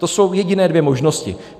To jsou jediné dvě možnosti.